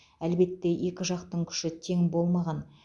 әлбетте екі жақтың күші тең болмаған